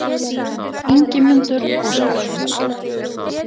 Ingimundur Óskarsson